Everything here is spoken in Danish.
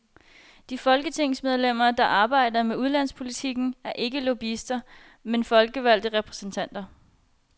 De folketingsmedlemmer, der arbejder med ulandspolitikken er ikke lobbyister, men folkevalgte repræsentanter.